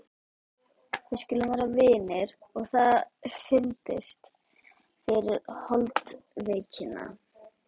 Við skulum vera vinir og það fyrnist yfir holdsveikina.